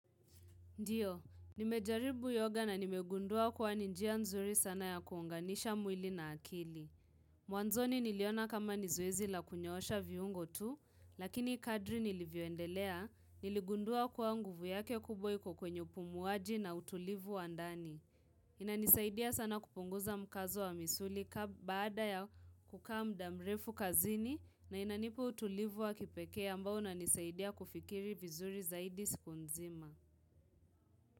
Ndiyo, nimejaribu yoga na nimegundua kuwa ni njia nzuri sana ya kuunganisha mwili na akili. Mwanzoni niliona kama ni zoezi la kunyoosha viungo tu, lakini kadri nilivyoendelea, niligundua kuwa nguvu yake kubwa iko kwenye upumuaji na utulivu wa ndani. Inanisaidia sana kupunguza mkazo wa misuli baada ya kukaa muda mrefu kazini na inanipa utulivu wa kipekee ambao unanisaidia kufikiri vizuri zaidi siku nzima.